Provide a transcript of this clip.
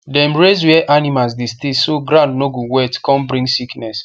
dem raise where animals dey stay so ground no go wet con bring sickness